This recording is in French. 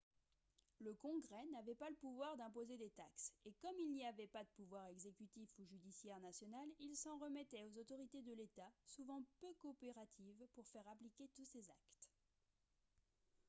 le congrès n'avait pas le pouvoir d'imposer des taxes et comme il n'y avait pas de pouvoir exécutif ou judiciaire national il s'en remettait aux autorités de l'état souvent peu coopératives pour faire appliquer tous ses actes